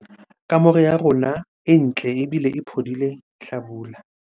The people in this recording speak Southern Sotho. kamore ya rona e ntle ebile e phodile hlabula